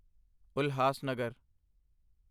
Ulhasnagar